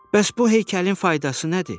Bəs bu heykəlin faydası nədir?